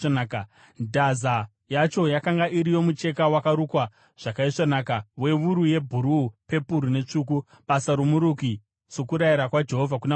Ndaza yacho yakanga iri yomucheka wakarukwa zvakaisvonaka wewuru yebhuruu, pepuru netsvuku, basa romuruki, sokurayira kwaJehovha kuna Mozisi.